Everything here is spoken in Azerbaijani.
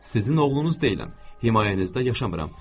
Sizin oğlunuz deyiləm, himayənizdə yaşamıram.